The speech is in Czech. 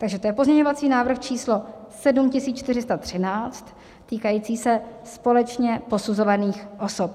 Takže to je pozměňovací návrh číslo 7413 týkající se společně posuzovaných osob.